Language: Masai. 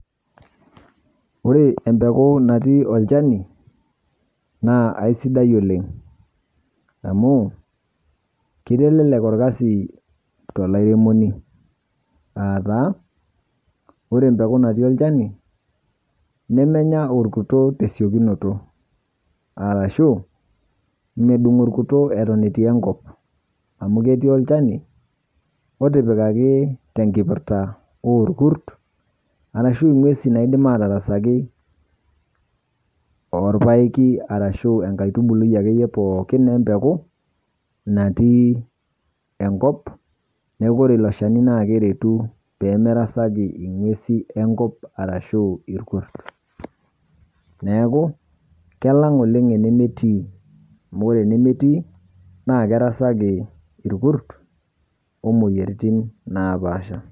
Ore empeku natii olchani naa aisidai oleng', amu keitelelek olkasi tolairemoni aataa ore empeku natii olchani nemenya orkuto tesiokinoto arashuu medung' orkuto eton etii enkop amu ketii olchani otipikaki tenkipirta oorkurt arashu ng'uesi naaidim atarasaki orpaeki arashuu enkaitubui akeiye pooki empeku natii enkop neaku ore ilo shani naakeretu peemerasaki ing'uesi enkop arashuu irkurt. Neaku kelang' enemetii amu ore enemetii naakerasaki irkurt omuoyaritin napaasha.